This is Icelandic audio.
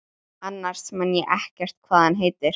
Annars man ég ekkert hvað hann heitir.